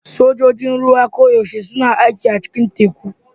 Sojojin ruwa koyaushe suna aiki a cikin teku.